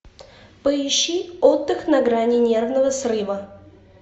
поищи отдых на грани нервного срыва